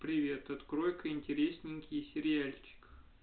привет открой-ка интересненький сериальчик